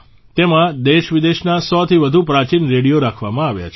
તેમાં દેશવિદેશના 100થી વધુ પ્રાચીન રેડિયો રાખવામાં આવ્યા છે